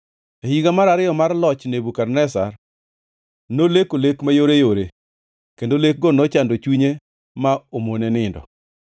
E higa mar ariyo mar loch Nebukadneza, noleko lek mayoreyore, kendo lekgo nochando chunye ma omone nindo.